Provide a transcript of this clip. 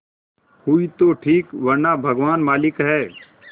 हुई तो ठीक वरना भगवान मालिक है